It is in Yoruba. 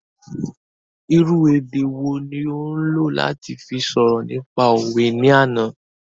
Irú èdè wo ni ó lò láti fi sọ̀rọ̀ nípa òwe ní àná